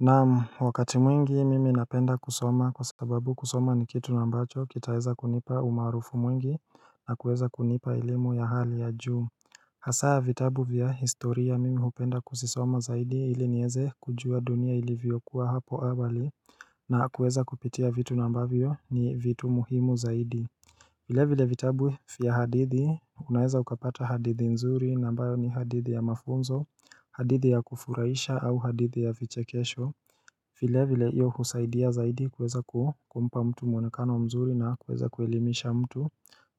Naam, wakati mwingi mimi napenda kusoma kwasababu kusoma ni kitu ambacho kitaeza kunipa umaarufu mwingi na kuweza kunipa elimu ya hali ya juu Hasaa vitabu vya historia mimi hupenda kuzisoma zaidi ili nieze kujua dunia ilivyokuwa hapo awali na kuweza kupitia vitu na ambavyo ni vitu muhimu zaidi vile vile vitabu ya hadithi unaeza ukapata hadithi nzuri na ambayo ni hadithi ya mafunzo hadithi ya kufurahisha au hadithi ya vichekesho vilevile hiyo husaidia zaidi kueza kumpa mtu mwonekano mzuri na kueza kuelimisha mtu